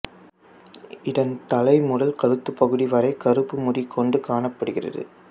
இதன் தலை முதல் கழுத்துப் பகுதி வரை கருப்பு முடிகொண்டு காணப்படுகிறது